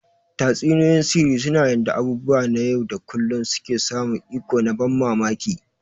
Tatsuniyoyin sihiri suna yanda abubuwa na yau da kullun suke samun iko na ban mamaki.